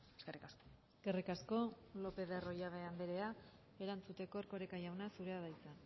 eskerrik asko eskerrik asko lopez de arroyabe anderea erantzuteko erkoreka jauna zurea da hitza